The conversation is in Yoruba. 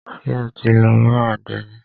Ṣé o ti lọ bá àdénì?